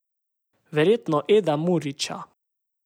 Verjetno Eda Murića.